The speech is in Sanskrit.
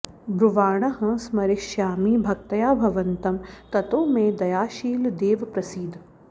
ब्रुवाणः स्मरिष्यामि भक्त्या भवन्तं ततो मे दयाशील देव प्रसीद